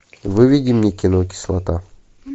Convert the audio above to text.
выведи мне кино кислота